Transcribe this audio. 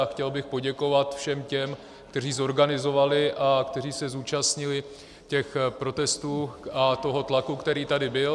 A chtěl bych poděkovat všem těm, kteří zorganizovali a kteří se zúčastnili těch protestů a toho tlaku, který tady byl.